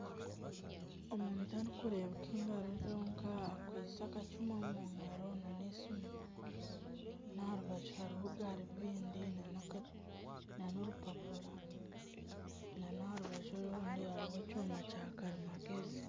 Omuntu arikureebeka engaro zonka akwaitse akacumu omu ngaro na n'esiimu n'aha rubaju hariho garubindi na n'orupapura nana aha rubaju orundi hariho ekyoma kya karimagyezi.